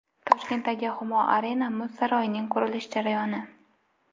Toshkentdagi Humo Arena muz saroyining qurilish jarayoni.